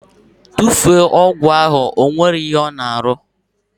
Tufuo ọgwụ ahụ! Ọ nweghị ihe ọ na arụ!